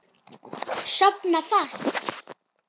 Sofna fast.